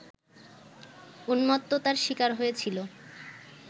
উন্মত্ততার শিকার হয়েছিল